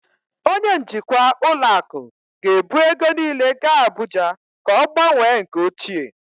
Onye njikwa ụlọ akụ ga-ebu ego niile gaa Abuja ka ọ gbanwee nke ochie